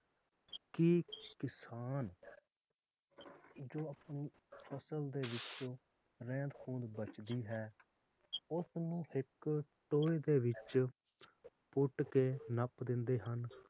ਕਿ ਕਿਸਾਨ ਜੋ ਆਪਣੀ ਫਸਲ ਦੇ ਵਿਚ ਰਹਿੰਦ ਖੂੰਦ ਬਚਦੀ ਹੈ ਉਸਨੂੰ ਇੱਕ ਟੋਏ ਦੇ ਵਿਚ ਪੁੱਟ ਕੇ ਨੱਪ ਦਿੰਦੇ ਹਨ